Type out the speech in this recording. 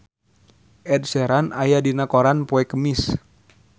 Ed Sheeran aya dina koran poe Kemis